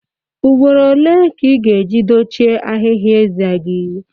Ugboro ole ka ị ga-eji dochie ahịhịa eze gị?